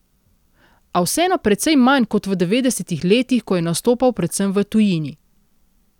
A vseeno precej manj kot v devetdesetih letih, ko je nastopal predvsem v tujini.